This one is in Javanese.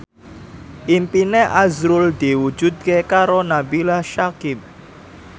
impine azrul diwujudke karo Nabila Syakieb